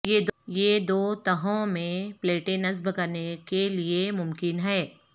یہ دو تہوں میں پلیٹیں نصب کرنے کے لئے ممکن ہے